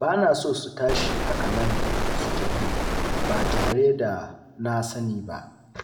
Ba na so su tashi haka nan su tafi ba tare da na sani ba.